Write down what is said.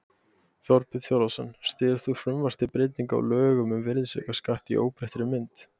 Þorbjörn Þórðarson: Styður þú frumvarp til breytinga á lögum um virðisaukaskatt í óbreyttri mynd?